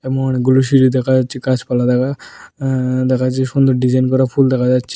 সামনে অনেকগুলো সিঁড়ি দেখা যাচ্ছে গাছপালা দেখা আঃ দেখা যাচ্ছে সুন্দর ডিজাইন করা ফুল দেখা যাচ্ছ --